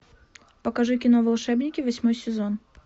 покажи кино волшебники восьмой сезон